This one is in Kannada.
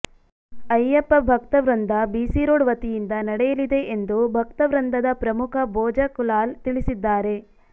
ಅಯ್ಯಪ್ಪ ಭಕ್ತ ವೃಂದ ಬಿಸಿರೋಡ್ ವತಿಯಿಂದ ನಡಯಲಿದೆ ಎಂದು ಭಕ್ತವ್ರಂದದ ಪ್ರಮುಖ ಬೋಜಕುಲಾಲ್ ತಿಳಿಸಿದ್ದಾರೆ